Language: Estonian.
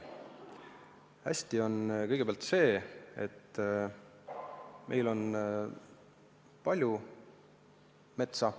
Hästi on kõigepealt see, et meil on palju metsa.